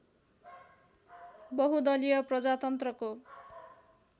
बहुदलीय प्रजातन्त्रको